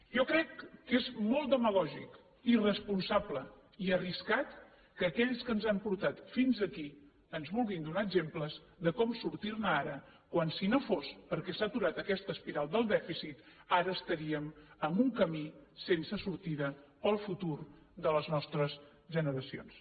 jo crec que és molt demagògic irresponsable i arriscat que aquells que ens han portat fins aquí ens vulguin donar exemples de com sortir ne ara quan si no fos perquè s’ha aturat aquest espiral del dèficit ara estaríem en un camí sense sortida per al futur de les nostres generacions